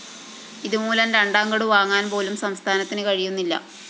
ഇതുമൂലം രണ്ടാംഗഡു വാങ്ങുവാന്‍പോലും സംസ്ഥാനത്തിന് കഴിയുന്നില്ല